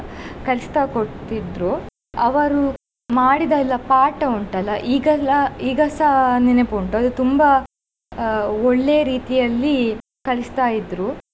ಕಲಿಸ್ತಾ ಕೊಡ್ತಿದ್ರು ಅವರು ಮಾಡಿದ ಎಲ್ಲ ಪಾಠ ಉಂಟಲ್ಲ ಈಗೆಲ್ಲ ಈಗಸ ನೆನಪುಂಟು ಅದು ತುಂಬಾ ಅಹ್ ಒಳ್ಳೆ ಆ ರೀತಿಯಲ್ಲಿ ಕಲಿಸ್ತಾ ಇದ್ರು.